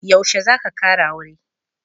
Yaushe za ka kara aure?